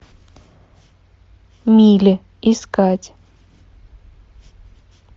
мили искать